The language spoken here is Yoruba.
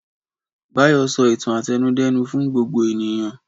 Báyọ̀ sọ ìtàn àtẹnudẹ́nu fún gbogbo ènìyàn.